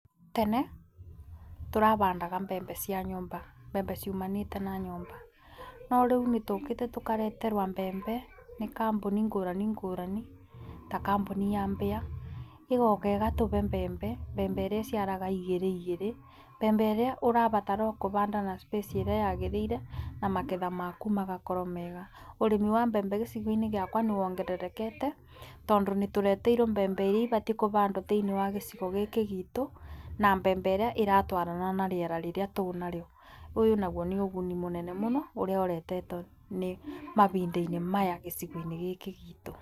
Tene tũrabandaga mbembe cia nyũmba ciumanĩte nsa nyũmba no rĩu nĩ tũkĩte tũkaretrwo mbembe nĩ kambuni ngurani ngũrani ta kambuni ya mbĩa. ĩgoka ĩgatũbe mbembe mbembe ĩrĩa iciaraga igĩrĩ nigĩrĩ, mbembe ĩria ũrabatara o ũbanda na space ĩrĩa yagĩrĩire na maketha maku magakorwo mega. Ũrĩmi wa mbvembe gĩcigo-inĩ gĩakwa nĩ wongererekete tondũ nĩ tũreteirwo mbembe iria ibatiĩ kũbandwo thĩinĩwa gĩcigo gĩkĩ gitũ na mbembe ĩrĩ ĩratwarana na rĩera rĩrĩa twĩnarĩo. Ũyũ naguo nĩ ũguni mũnene mũno ũrĩa ũretetwo nĩ mabinda-inĩ maya gĩcigo-inĩ gĩkĩ gitũ.